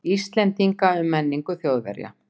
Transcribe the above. Íslendinga um menningu Þjóðverja.